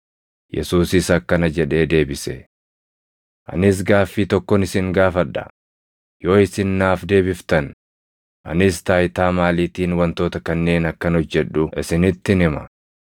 Yesuusis akkana jedhee deebise; “Anis gaaffii tokkon isin gaafadha; yoo isin naaf deebiftan, anis taayitaa maaliitiin wantoota kanneen akkan hojjedhu isinittin hima.